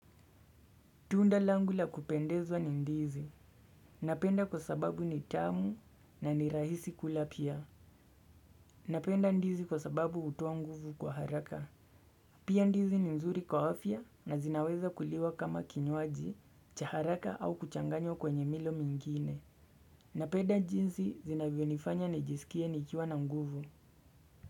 Tunda langu la kupendezwa ni ndizi. Napenda kwa sababu ni tamu na ni rahisi kula pia. Napenda ndizi kwa sababu hutoa nguvu kwa haraka. Pia ndizi ni mzuri kwa afya na zinaweza kuliwa kama kinywaji cha haraka au kuchanganywa kwenye milo mingine. Napenda jinsi zinavyonifanya nijisikie nikiwa na nguvu.